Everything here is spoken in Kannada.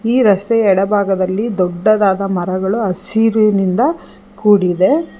ಈ ರಸ್ತೆಯ ಎಡಭಾಗದಲ್ಲಿ ದೊಡ್ಡದಾದ ಮರಗಳು ಹಸಿರಿನಿಂದ ಕೂಡಿದೆ.